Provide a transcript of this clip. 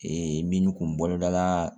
min tun bolo dala